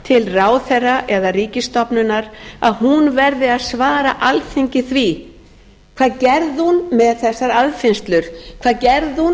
til ráðherra eða ríkisstofnunar að hún verði að svara alþingi því hvað gerði hún með þessar aðfinnslur hvað gerði hún varðandi